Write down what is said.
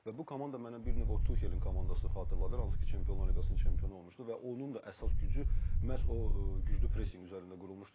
Və bu komanda mənə bir növ o Tuhelin komandasını xatırladır, hansı ki Çempionlar Liqasının çempionu olmuşdu və onun da əsas gücü məhz o güclü presinq üzərində qurulmuşdu.